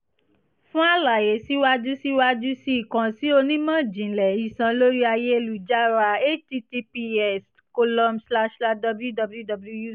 fun alaye siwaju siwaju sii kan si onimọ-jinlẹ iṣan lori ayelujara h-t-t-p-s colon slash slash w-w-w